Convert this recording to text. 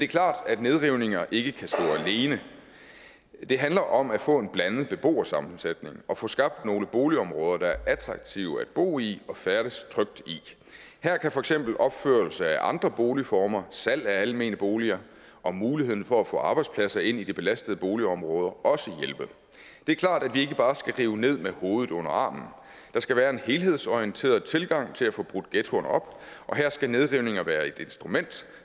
klart at nedrivninger ikke kan stå alene det handler om at få en blandet beboersammensætning og få skabt nogle boligområder der er attraktive at bo i og færdes trygt i her kan for eksempel opførelse af andre boligformer salg af almene boliger og muligheden for at få arbejdspladser ind i de belastede boligområder også hjælpe det er klart at vi ikke bare skal rive ned med hovedet under armen der skal være en helhedsorienteret tilgang til at få brudt ghettoerne op og her skal nedrivninger være et instrument